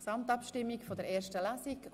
Gesamtabstimmung 1. Lesung